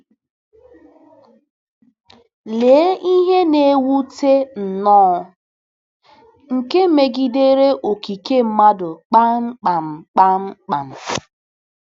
Lee ihe na-ewute nnọọ, nke megidere okike mmadụ kpamkpam! kpamkpam!